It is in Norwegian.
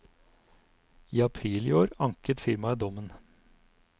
I april i år anket firmaet dommen.